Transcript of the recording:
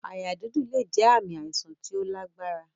Àyà dídùn lè jẹ ààmì àìsàn tí ó lágbára